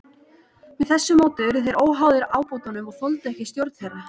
Með þessu móti urðu þeir óháðir ábótunum og þoldu ekki stjórn þeirra.